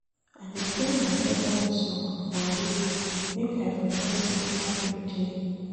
I dey play my favourite song for road make I forget sey traffic dey.